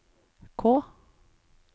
K